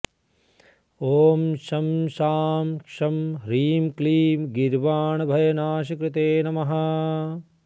ॐ शं शां षं ह्रीं क्लीं गीर्वाणभयनाशकृते नमः